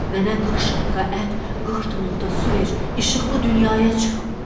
Mənə qırx şaqqa ət, qırx tuluq da su ver, işıqlı dünyaya çıxım.